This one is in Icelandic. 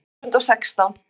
Tvö þúsund og sextán